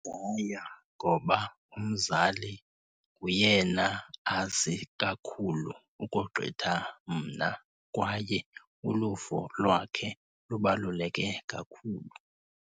Ndingaya ngoba umzali nguyena azi kakhulu ukogqitha mna kwaye uluvo lwakhe lubaluleke kakhulu.